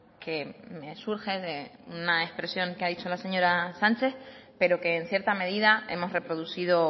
que me surge de una expresión que ha dicho la señora sánchez pero que en cierta medida hemos reproducido